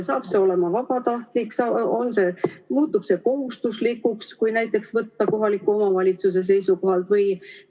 Saab see olema vabatahtlik või muutub see kohustuslikuks, kui võtta näiteks kohaliku omavalitsuse seisukohalt?